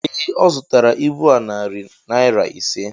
Ee, ọ zụtara ibu a narị naira ise.